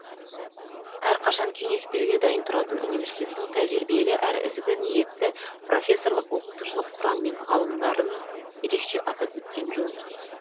әрқашан кеңес беруге дайын тұратын университеттің тәжірибелі әрі ізгі ниетті профессорлық оқытушылық құрам мен ғалымдарын ерекше атап өткен жөн